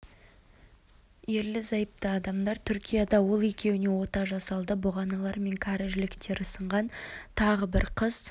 ерлі-зайыпты адамдар түркияда ол екеуіне ота жасалды бұғаналары мен кәрі жіліктері сынған тағы бір қыз